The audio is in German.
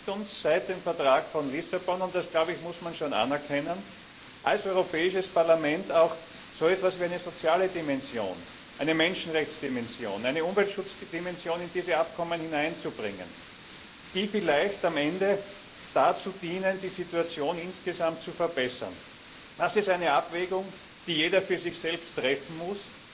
Es gelingt uns seit dem Vertrag von Lissabon und das glaube ich, muss man schon anerkennen als Europäisches Parlament, auch so etwas wie eine soziale Dimension, eine Menschenrechtsdimension, eine Umweltschutzdimension in diese Abkommen hineinzubringen, die vielleicht am Ende dazu dienen, die Situation insgesamt zu verbessern. Das ist eine Abwägung, die jeder für sich selbst treffen muss.